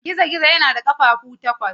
Gizo-gizo yana da ƙafafu takwas.